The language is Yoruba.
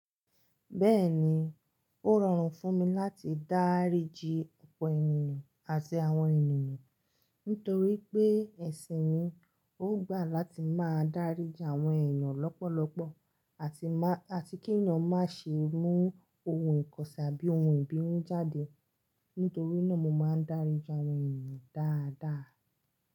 Bẹ́ẹ̀ni, ó rọrùn fún mi láti dáríji ọ̀pọ̀ ènìyàn àti àwọn ènìyàn, nítorí pé ẹ̀sìn mi ò gbà láti máa dáríji àwọn ènìyàn lọ́pọ̀lọpọ̀ àti máà, àti kí èeyan má ṣe mú ohun ìkọ̀sẹ̀ àbí ohun ìbínú jáde. Nítorí náà mo máa ń dáríji àwọn ènìyàn dáadáa.